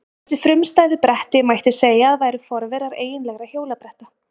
Þessi frumstæðu bretti mætti segja að væru forverar eiginlegra hjólabretta.